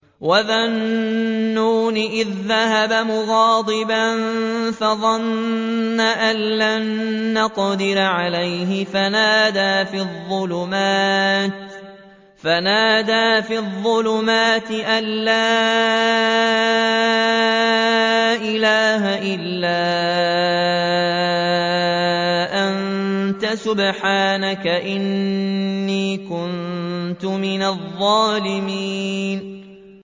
وَذَا النُّونِ إِذ ذَّهَبَ مُغَاضِبًا فَظَنَّ أَن لَّن نَّقْدِرَ عَلَيْهِ فَنَادَىٰ فِي الظُّلُمَاتِ أَن لَّا إِلَٰهَ إِلَّا أَنتَ سُبْحَانَكَ إِنِّي كُنتُ مِنَ الظَّالِمِينَ